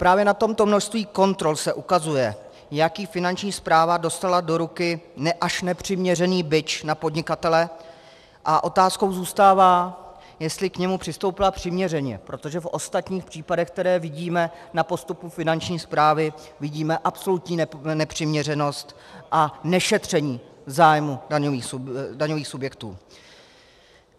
Právě na tomto množství kontrol se ukazuje, jaký Finanční správa dostala do ruky až nepřiměřený bič na podnikatele, a otázkou zůstává, jestli k němu přistoupila přiměřeně, protože v ostatních případech, které vidíme na postupu Finanční správy, vidíme absolutní nepřiměřenost a nešetření zájmu daňových subjektů.